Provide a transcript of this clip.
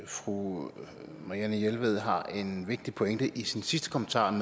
fru marianne jelved har en vigtig pointe i sin sidste kommentar om